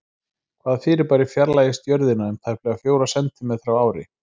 Hvaða fyrirbæri fjarlægist Jörðina um tæplega fjóra sentímetra á ári?